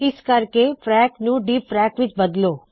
ਇਸ ਕਰਕੇ ਚਲੋ ਫ਼ਰੈਕ ਨੂੰ ਡੀਫ਼ਰੈਕ ਵਿੱਚ ਬਦਲੋ